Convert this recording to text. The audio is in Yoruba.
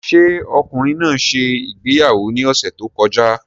Ṣé ọkùnrin náà ṣe ìgbéyàwó ní ọ̀sẹ̀ tó kọjá?